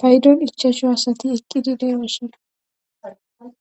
paydon ichasho asati eqqidi de7oosona